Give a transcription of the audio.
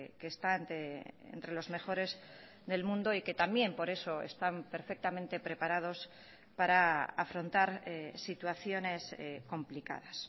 que está entre los mejores del mundo y que también por eso están perfectamente preparados para afrontar situaciones complicadas